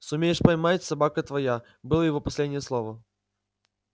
сумеешь поймать собака твоя было его последнее слово